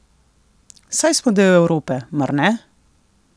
Saj smo del Evrope, mar ne?